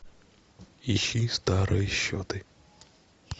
ищи старые счеты